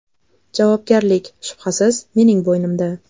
Javobgarlik, shubhasiz, mening bo‘ynimda.